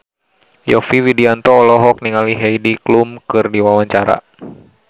Yovie Widianto olohok ningali Heidi Klum keur diwawancara